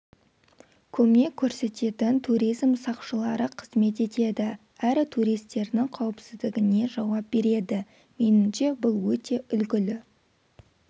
көмек көрсететін туризм сақшылары қызмет етеді әрі туристердің қауіпсіздігіне жауап береді меніңше бұл өте үлгілі